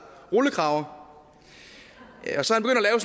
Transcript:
rullekrave og så